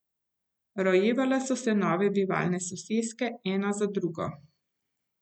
Rojevale so se nove bivalne soseske ena za drugo.